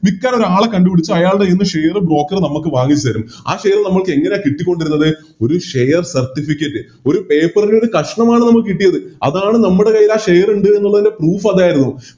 വിക്കാൻ ഒരാളെക്കണ്ട് പിടിച്ച് അവരെ കൈയിന്ന് Share broker നമുക്ക് വാങ്ങിത്തരും ആ Share നമ്മക്കെങ്ങനെയാ കിട്ടിക്കൊണ്ടിരിന്നത് ഒരു Share certificate ഒരു paper ൻറെ ഒരു കഷ്ണമാണ് നമുക്ക് കിട്ടിയത് അതാണ് നമ്മുടെ കയ്യിലാ Share ഇണ്ട് എന്നുള്ളതിൻറെ Proof അതായിരുന്നു